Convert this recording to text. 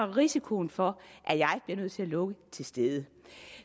risikoen for at jeg bliver nødt til at lukke til stede